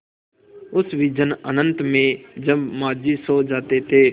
उस विजन अनंत में जब माँझी सो जाते थे